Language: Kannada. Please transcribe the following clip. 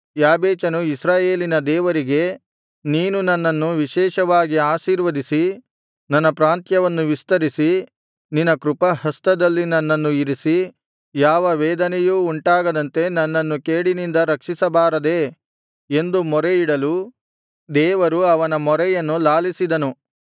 ಯಾಬೇಚನು ಇಸ್ರಾಯೇಲಿನ ದೇವರಿಗೆ ನೀನು ನನ್ನನ್ನು ವಿಶೇಷವಾಗಿ ಆಶೀರ್ವದಿಸಿ ನನ್ನ ಪ್ರಾಂತ್ಯವನ್ನು ವಿಸ್ತರಿಸಿ ನಿನ್ನ ಕೃಪಾಹಸ್ತದಲ್ಲಿ ನನ್ನನ್ನು ಇರಿಸಿ ಯಾವ ವೇದನೆಯೂ ಉಂಟಾಗದಂತೆ ನನ್ನನ್ನು ಕೇಡಿನಿಂದ ರಕ್ಷಿಸಬಾರದೇ ಎಂದು ಮೊರೆಯಿಡಲು ದೇವರು ಅವನ ಮೊರೆಯನ್ನು ಲಾಲಿಸಿದನು